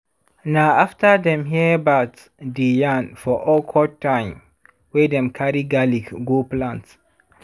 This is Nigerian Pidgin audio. na afta dem hear bat dey yarn for awkward time wey dem carry garlic go plant.